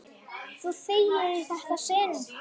Þú þegir í þetta sinn!